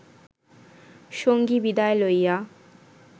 সঙ্গী বিদায় লইয়া